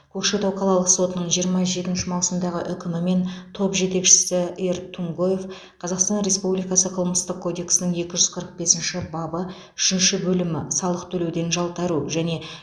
көкшетау қалалық сотының жиырма жетінші маусымдағы үкімімен топ жетекшісі р тумгоев қазақстан республикасы қылмыстық кодексінің екі жүз қырық бесінші бабы үшінші бөлімі салық төлеуден жалтару және